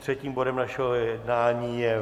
Třetím bodem našeho jednání je